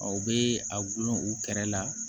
Aw bɛ a gulon u kɛrɛ la